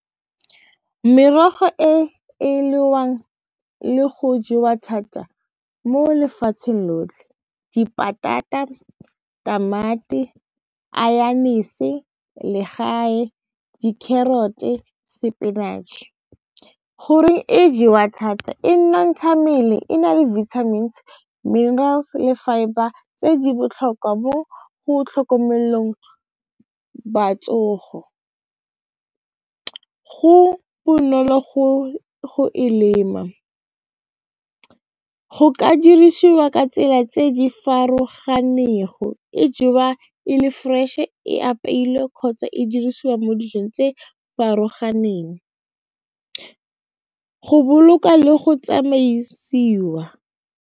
Merogo e e le go jewa thata mo lefatsheng lotlhe , tamati, legae, di-carrot-e, sepinatšhe goreng e jewa thata e mmele e na le vitamins, minerals le fibre tse di botlhokwa mo go tlhokomelelong go bonolo go e lema, go ka dirisiwa ka tsela tse di farologanego e jewa e le fresh e apeilwe kgotsa e dirisiwa mo dijong tse farologaneng go boloka le go tsamaisiwa.